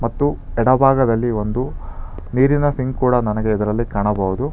ಮತ್ತು ಎಡ ಭಾಗದಲ್ಲಿ ಒಂದು ನೀರಿನ ಸಿಂಕ್ ಕೂಡ ನನಗೆ ಇದರಲ್ಲಿ ಕಾಣಬಹುದು.